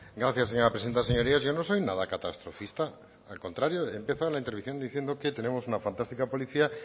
gracias señora presidenta señorías yo no soy nada catastrofista al contrario he empezado la intervención diciendo que tenemos una fantástica policía